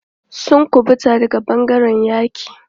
Sun ƙubuta daga ɓangaren yaƙi.